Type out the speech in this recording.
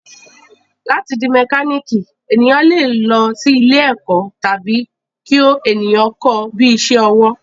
Láti di mẹkálíkì, èèyàn le lọ sí ilé ẹ̀kọ́ tàbí kí èèyàn kọ́ ọ bíi isẹ́ ọwọ́